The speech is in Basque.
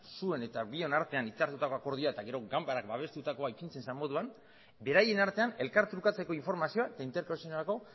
zuen eta bion artean hitzartutako akordio eta gero ganbarak adostutakoak ipintzen zen moduan beraien arteko elkartrukatzeko informazioa eta interkonexiorako